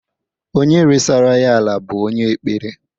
Onye resara ya ala bụ onye ekpere.